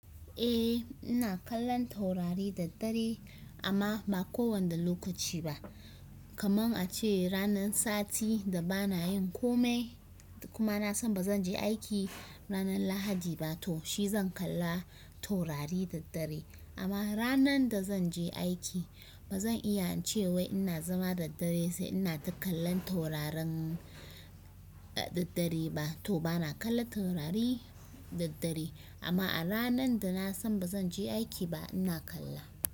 Eh ina kallon taurari da dare amma ba kowane lokaci ba. Kaman a ce ranan sati da bana yin komai kuma nasan bazan je aiki ranan lahadi ba to shi zan kalla taurari da dare. Amma ranan da zan je aiki bazan iya cewa ina zama da dare sai ina ta kallon taurarin da dare ba. To bana kallon taurari daddare amma a ranan da nasan bazan je aiki ba ina kalla.